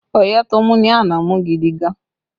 Ọyẹ́ tó mú ní àná mú gidi gan